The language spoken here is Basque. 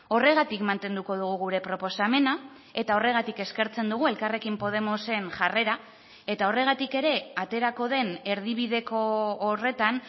horregatik mantenduko dugu gure proposamena eta horregatik eskertzen dugu elkarrekin podemosen jarrera eta horregatik ere aterako den erdibideko horretan